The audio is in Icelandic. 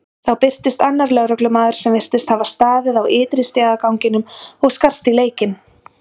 Þá birtist annar lögreglumaður sem virtist hafa staðið á ytri stigaganginum og skarst í leikinn.